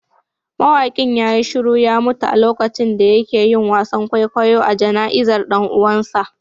Mawakin ya yi shiru ya mutu a lokacin da yake yin wasan kwaikwayo a jana'izar dan uwansa